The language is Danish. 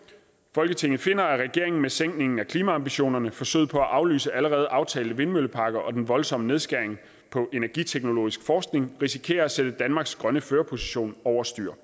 folketinget finder at regeringen med sænkningen af klimaambitionerne forsøget på at aflyse allerede aftalte vindmølleparker og den voldsomme nedskæring på energiteknologisk forskning risikerer at sætte danmarks grønne førerposition over styr